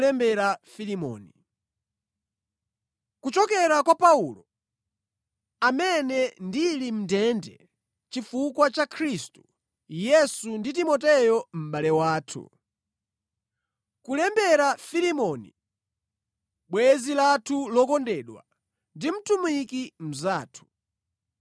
Kuchokera kwa Paulo, amene ndili mʼndende chifukwa cha Khristu Yesu ndi Timoteyo mʼbale wathu. Kulembera Filemoni, bwenzi lathu lokondedwa ndi mtumiki mnzathu.